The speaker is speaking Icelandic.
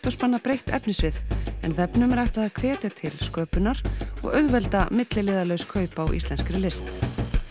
og spanna breitt efnissvið en vefnum er ætlað að hvetja til sköpunar og auðvelda milliliðalaus kaup á íslenskri list